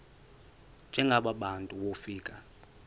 njengaba bantu wofika